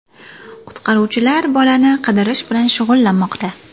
Qutqaruvchilar bolani qidirish bilan shug‘ullanmoqda.